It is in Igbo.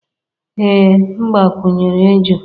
Ee m gbakwunyere eju